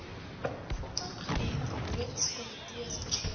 opvanggebied loodskomitees verseker